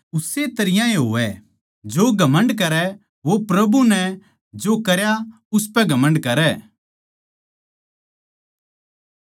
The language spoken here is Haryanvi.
ताके जिसा पवित्र ग्रन्थ म्ह लिख्या सै उस्से तरियां ए होवै जो घमण्ड करै वो प्रभु नै जो करया उसपै घमण्ड करै